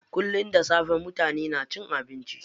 Kullum da safe mutane na cin abinci.